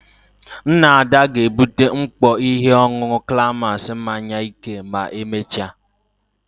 Nna Ada ga-ebute mkpọ ihe ọṅụṅụ climax mmanya ike ma emechaa.